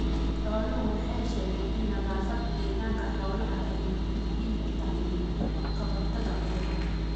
Xooluhu waxay sheegeen in nadaafadda deegaanka xooluhu ay muhiim u tahay ka hortagga cudurrada.